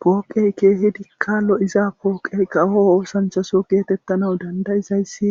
pooqey keehidikka lo7iza pooqey kawo oosanchaso geetettana dandayizayssi